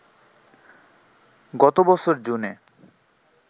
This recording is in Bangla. গত বছর জুনে